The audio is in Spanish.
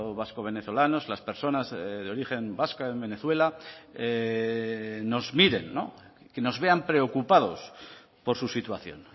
vasco venezolanos las personas de origen vasca en venezuela nos miren que nos vean preocupados por su situación